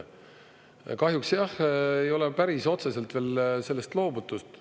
Kahjuks ei ole päris otseselt veel sellest loobutud.